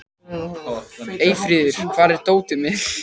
Eyfríður, hvar er dótið mitt?